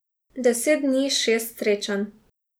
Deset dni, šest srečanj.